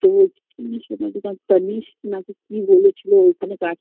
তো বলছে কি সোনার দোকান তানিস্ক না কি বলেছিল ওইখানে কা